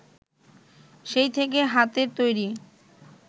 সেই থেকেই হাতে তৈরি